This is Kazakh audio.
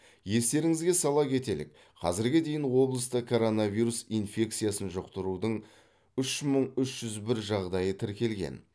естеріңізге сала кетелік қазірге дейін облыста коронавирус инфекциясын жұқтырудың үш мың үш жүз бір жағдайы тіркелген